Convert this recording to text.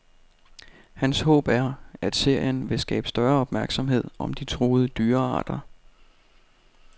Hans håb er, at serien vil skabe større opmærksomhed om de truede dyrearter.